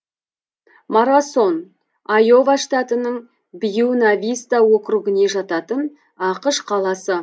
марасон айова штатының бьюна виста округіне жататын ақш қаласы